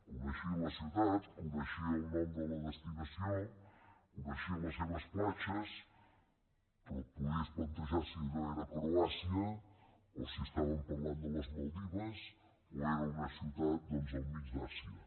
coneixia la ciutat coneixia el nom de la destinació coneixia les seves platges però et podries plantejar si allò era croàcia o si parlàvem de les maldives o era una ciutat al mig de l’àsia